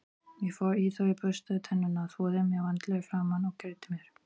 Ég fór í þau og burstaði tennurnar, þvoði mér vandlega í framan og greiddi mér.